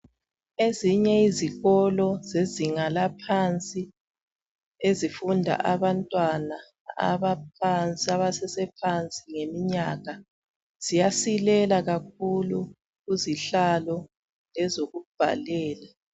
Ezinye izikolo zezinga laphansi ezifunda abantwana aba phansi abasesephansi ngeminyaka ziyasilela kakhulu uzihlalo ezokubhalela